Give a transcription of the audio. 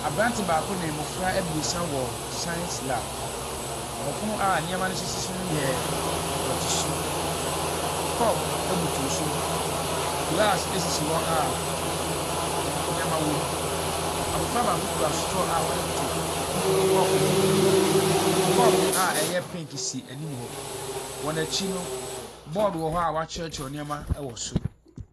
Aberante baako ne mmofra abiesa ɛwɔ science lab, na ɔpono a nneɛma no sisi so no yɛ dɔte su. Kɔpo abutu so, glass asisi anneɛma wɔ mu. Abofra baako kita strawa ɔde reto kɔpo no baako mu. Kɔpo a ɛyɛ penke si anim hɔ, wɔn akyi no, board wɔ hɔ wɔatwerɛtwerɛ nneɛma ɛwɔ so.